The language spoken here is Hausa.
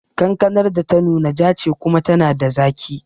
Kankanar da ta nuna ja ce kuma tana da zaki